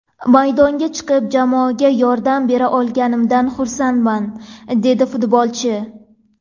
Maydonga chiqib, jamoaga yordam bera olganimdan xursandman”, dedi futbolchi.